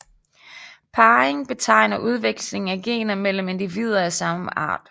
Parring betegner udveksling af gener mellem individer af samme art